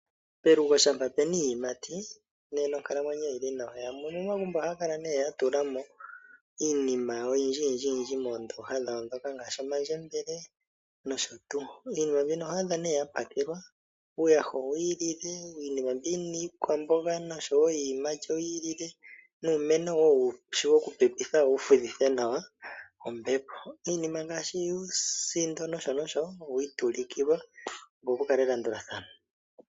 Pelugo shampa pe na iiyimati nena onkalamwenyo oyili nawa. Yamwe momagumbo Oha ya kala ya tulamo Iinima oyindji moondoha dhawo ngaashi omandjebele, nosho tuu. Iinima mbino oho adha nee ya pakelwa uuyaha owi i kalekelwa ,iinima mbi yi na iikwamboga no showo iiyimati oyi ikalekelwa nuumeno woku fudhitha nawa ombepo . iinima ngaashi oosindo nosho nosho owi ikalekelwa opo pukale elandulathano.